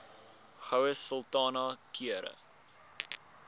goue sultana keur